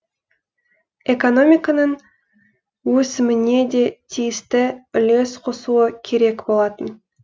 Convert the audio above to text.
экономиканың өсіміне де тиісті үлес қосуы керек болатын